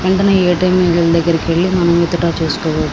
వెంటనే ఏ.టి.ఎం. దగ్గరికి వెళ్ళి మనం విత్డ్రా చేసుకోవచ్చు.